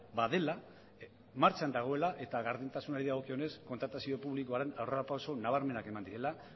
badela martxan dagoela eta gardentasunari dagokionez kontratazio publikoan aurrerapauso nabarmenak eman direla